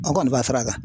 An kɔni b'a fara kan